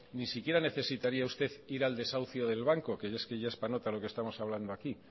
ni siquiera necesitaría usted ir al desahucio del banco que es que ya es para nota lo que estamos hablando aquí